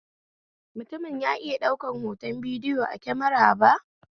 Mutumin ya iya daukar hoton bidiyo a kemara ba?